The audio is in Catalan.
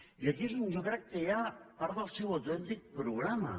i aquí és on jo crec que hi ha part del seu autèntic programa